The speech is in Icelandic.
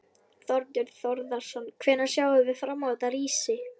Þorbjörn Þórðarson: Hvenær sjáum við fram á þetta rísi?